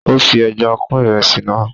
ó fi ẹja kún ìrẹsì náà